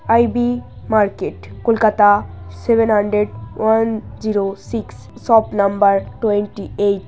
I B market Kolkata seven hundred one zero six সব number twenty eight.